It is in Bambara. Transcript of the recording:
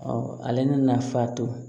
ale nafa to